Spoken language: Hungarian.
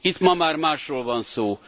Itt ma már másról van szó.